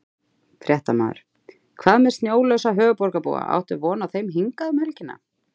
Fréttamaður: Hvað með snjólausa höfuðborgarbúa, áttu von á þeim hingað um helgina?